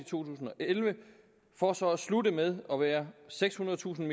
tusind og elleve for så at slutte med at være sekshundredetusind